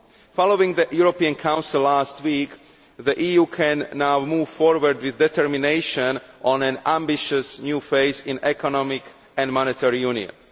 Following the European Council last week, the EU can now move forward with determination towards an ambitious new phase in economic and monetary union.